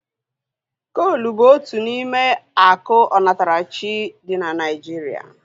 Koolu bụ otu n'ime akụ onatarachi dị na Naijiria